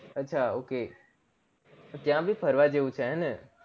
અચ્છા ok ત્યાં ભી ફરવા જેવું છે હેને